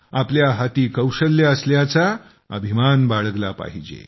आपल्या हाती कौशल्ये असल्याचा अभिमान बाळगला पाहिजे